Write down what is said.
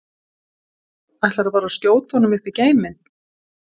Ætlarðu bara að skjóta honum upp í geiminn?